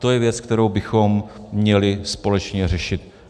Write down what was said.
To je věc, kterou bychom měli společně řešit.